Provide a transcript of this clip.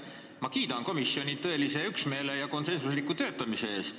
Ma kiidan komisjoni tõelise üksmeele ja konsensusliku töötamise eest.